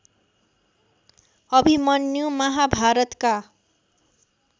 अभिमन्यु महाभारतका